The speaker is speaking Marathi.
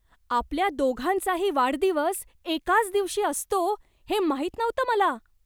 आपल्या दोघांचाही वाढदिवस एकाच दिवशी असतो हे माहित नव्हतं मला!